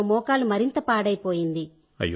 దాంతో మోకాలు మరింత పాడైపోయింది